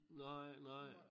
Nej nej